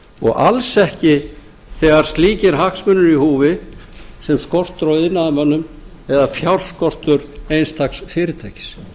og alls ekki þegar slíkir hagsmunir eru í húfi sem skortur á iðnaðarmönnum eða fjárskortur einstaks fyrirtækis